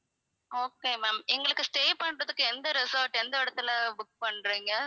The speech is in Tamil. okay ma'am எங்களுக்கு stay பண்றதுக்கு எந்த resort எந்த இடத்தில book பண்றீங்க